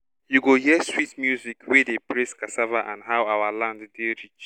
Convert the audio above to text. you go hear sweet music wey dey praise cassava and how our land dey rich.